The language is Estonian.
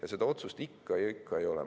Aga seda otsust ikka ja ikka ei ole.